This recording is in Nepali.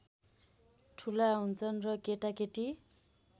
ठुला हुन्छन् र केटाकेटी